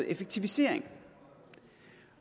effektivisering